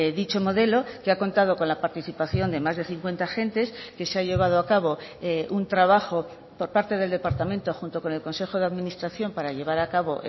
dicho modelo que ha contado con la participación de más de cincuenta agentes que se ha llevado a cabo un trabajo por parte del departamento junto con el consejo de administración para llevar a cabo